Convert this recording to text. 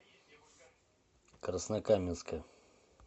краснокаменска